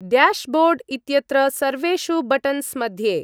Dashboard इत्यत्र सर्वेषु buttons मध्ये।